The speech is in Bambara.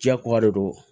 Diyako de do